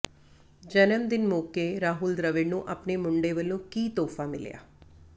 ਜਨਮ ਦਿਨ ਮੌਕੇ ਰਾਹੁਲ ਦ੍ਰਵਿੜ ਨੂੰ ਆਪਣੇ ਮੁੰਡੇ ਵੱਲੋਂ ਕੀ ਤੋਹਫ਼ਾ ਮਿਲਿਆ